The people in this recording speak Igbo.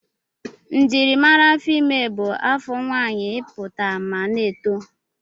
Njimara afọ ime bụ afọ nwaanyị ịpụta ma na-eto.